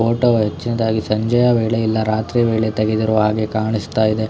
Photo ಹೆಚ್ಚಿನದಾಗಿ ಸಂಜೆಯ ವೇಳೆಯಲ್ಲಿ ಇಲ್ಲ ರಾತ್ರಿಯ ವೇಳೆ ತೆಗೆದರೂ ಹಾಗೆ ಕಾಣಿಸುತ್ತದೆ.